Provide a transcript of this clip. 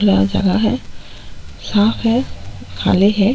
खुला जगह है साफ है खाली है।